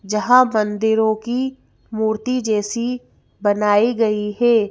जहां मंदिरों की मूर्ति जैसी बनाई गई है।